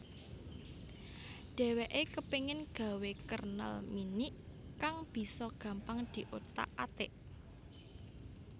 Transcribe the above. Dhèwèké kepéngin gawé kernel Minix kang bisa gampang diothak athik